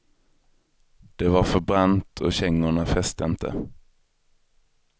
Det var för brant och kängorna fäste inte.